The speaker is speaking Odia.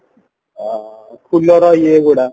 ଅ ଫୁଲର ଇଏ ଗୁଡା